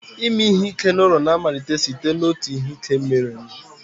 Ime ihe ike n'ụlọ na-amalite site n'otu ihe ike mere